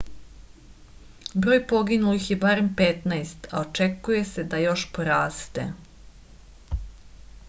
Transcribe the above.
broj poginulih je barem 15 a očekuje se da još poraste